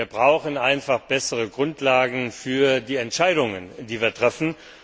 Wir brauchen einfach bessere Grundlagen für die Entscheidungen, die wir treffen.